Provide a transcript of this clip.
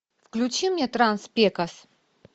включи мне транс пекос